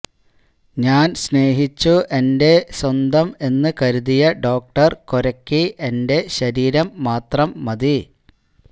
ഞാന് സ്നേഹിച്ചു എന്റെ സ്വന്തം എന്ന് കരുതിയ ഡോക്ടര് കൊരയ്ക്ക് എന്റെ ശരീരം മാത്രം മതി